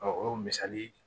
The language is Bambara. o ye misali ye